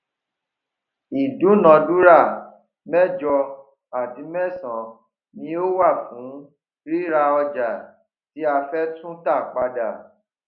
ìdúnàdúrà méjọ àti mẹsanán ni ó wà fún ríra ọjà tí a fẹ tú tà padà